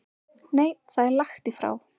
Nei það er lagt í frá